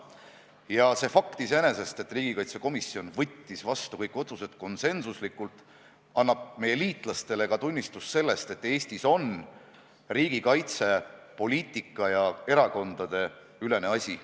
Ja see fakt iseenesest, et riigikaitsekomisjon võttis vastu kõik otsused konsensuslikult, annab meie liitlastele ka tunnistust sellest, et Eestis on riigikaitse poliitika- ja erakondadeülene asi.